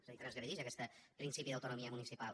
és a dir transgredix aquest principi d’autonomia municipal